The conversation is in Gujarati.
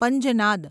પંજનાદ